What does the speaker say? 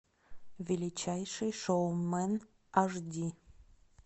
величайший шоумен аш ди